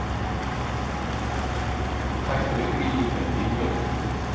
Hættuleg grýlukerti í Mjódd